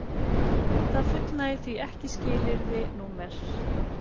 Það fullnægir því ekki skilyrði nr